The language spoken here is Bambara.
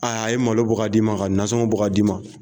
Ayi a ye malo bɔ ka d' i ma, ka nasɔngon bɔ ka d' i ma.